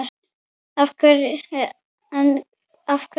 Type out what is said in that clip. En af hverju Valur?